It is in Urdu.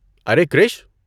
ارے کرش!